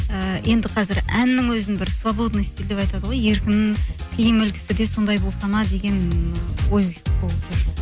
ііі енді қазір әннің өзін бір свободный стиль деп айтады ғой еркін киім үлгісі де сондай болса ма деген ой